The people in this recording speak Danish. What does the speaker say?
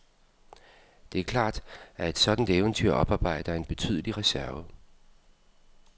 Det er klart, at et sådant eventyr oparbejder en betydelig reserve.